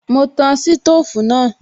Mo tan sítòfù náà